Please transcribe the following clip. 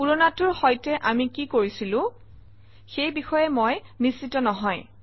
পূৰণাটোৰ সৈতে আমি কি কৰিছিলো সেই বিষয়ে মই নিশ্চিত নহয়